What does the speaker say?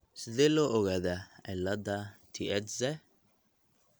Sidee loo ogaadaa cillada Tietze?